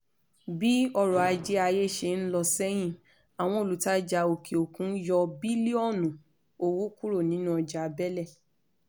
bí ọrọ̀ ajé ayé ṣe ń lọ sẹ́yìn àwọn olùtajà òkè òkun yọ bílíọ́nù owó kúrò nínú ọjà abẹ́lẹ̀